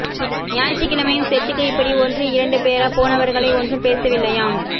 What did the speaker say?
ஞாயிற்றுக் கிழமையும் செர்ச்சுக்கு இப்பிடி ஒன்று இரண்டு பேரா போனவர்களை ஒன்றும் பேசவில்லையாம்